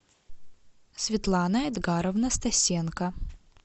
светлана эдгаровна стасенко